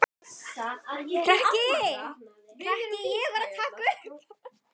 Bjarki, hækkaðu í græjunum.